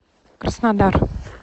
краснодар